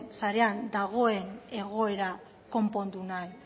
sarean dagoen egoera konpondu nahi